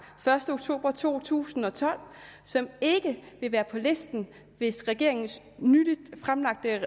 første oktober to tusind og tolv som ikke vil være på listen hvis regeringens nylig fremlagte